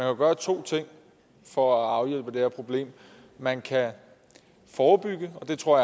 jo gøre to ting for at afhjælpe det her problem man kan forebygge og jeg tror